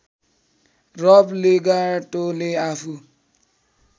रब लेगाटोले आफू